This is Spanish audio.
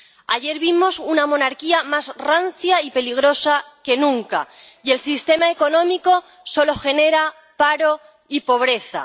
Ayer vimos una monarquía más rancia y peligrosa que nunca, y el sistema económico solo genera paro y pobreza.